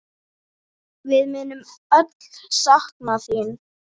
Við munum öll sakna þín.